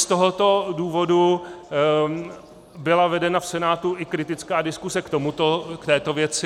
Z tohoto důvodu byla vedena v Senátu i kritická diskuse k této věci.